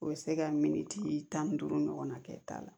U bɛ se ka miniti tan ni duuru ɲɔgɔnna kɛ ta la